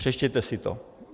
Přečtěte si to.